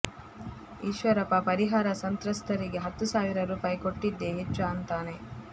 ಈಶ್ವರಪ್ಪ ಪರಿಹಾರ ಸಂತ್ರಸ್ತರಿಗೆ ಹತ್ತು ಸಾವಿರ ರೂಪಾಯಿ ಕೊಟ್ಟಿದ್ದೇ ಹೆಚ್ಚು ಅಂತಾನೆ